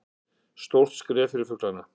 Stórt skref fyrir fuglana